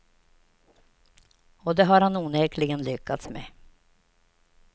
Och det har han onekligen lyckats med.